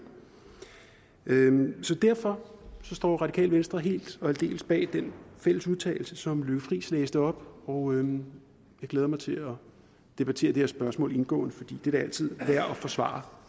derfor står radikale venstre helt og aldeles bag den fælles udtalelse som fru lykke friis læste op og jeg glæder mig til at debattere det her spørgsmål indgående for det er da altid værd at forsvare